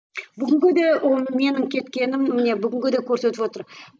бүгінгі де оны менің кеткенім міне бүгінгі де көрсетіп отыр